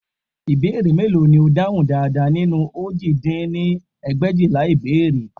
Ìbéèrè mélòó ni o dáhùn dáradára nínú òjì dín ní ẹgbẹ̀éjìlá ìbéèrè